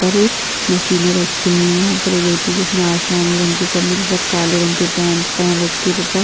पर मशीनें रखी हुई हैं यहाँ पर एक व्यक्ति जिसने आसमानी रंग की कमी तथा काले रंग के पैंट पहन रखे तथा --